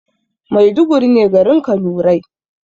Maiduguri ne garin kanurai